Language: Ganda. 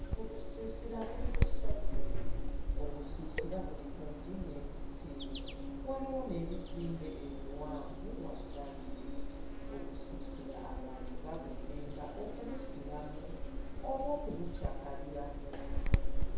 Obusiisira buli busatu. Obusiisira buli kumpi n'emiti, waliwo n'ebizimbe ebiwanvu wabbali. Obusiisira abantu babuzimba okubusulamu oba okubukyakaliramu.